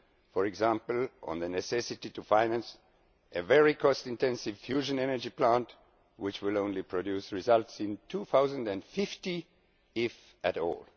For example, on the necessity to finance a very cost intensive fusion energy plant which will only produce results in 2050, if at all.